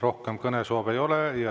Rohkem kõnesoove ei ole.